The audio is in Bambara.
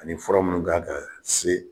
Ani fura munnu kan kaa se